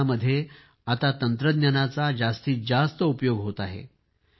शिक्षणामध्ये आता तंत्रज्ञानाचा जास्तीत जास्त उपयोग होत आहे